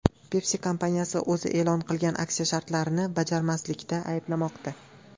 Pepsi kompaniyasi o‘zi e’lon qilgan aksiya shartlarini bajarmaslikda ayblanmoqda.